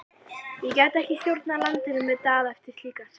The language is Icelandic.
Ég gæti ekki stjórnað landinu með Daða eftir slíkan samning.